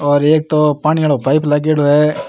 और एक तो पानी वाला पाइप लागेड़ो है।